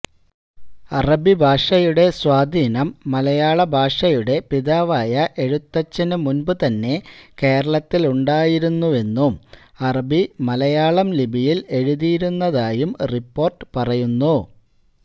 അറബിഭാഷയുടെ സ്വാധീനം മലയാള ഭാഷയുടെ പിതാവായ എഴുത്തച്ഛന് മുന്പു തന്നെ കേരളത്തിലുണ്ടായിരുന്നുവെന്നും അറബി മലയാളം ലിപിയില് എഴുതിയിരുന്നതായും റിപ്പോര്ട്ട് പറയുന്നു